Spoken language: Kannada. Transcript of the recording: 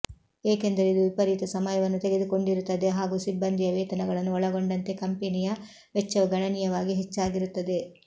ಏಕೆಂದರೆ ಇದು ವಿಪರೀತ ಸಮಯವನ್ನು ತೆಗೆದುಕೊಂಡಿರುತ್ತದೆ ಹಾಗು ಸಿಬ್ಬಂದಿಯ ವೇತನಗಳನ್ನು ಒಳಗೊಂಡಂತೆ ಕಂಪೆನಿಯ ವೆಚ್ಚವು ಗಣನೀಯವಾಗಿ ಹೆಚ್ಚಾಗಿರುತ್ತದೆ